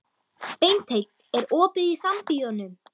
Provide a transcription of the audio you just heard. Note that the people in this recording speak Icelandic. Beinteinn, er opið í Sambíóunum?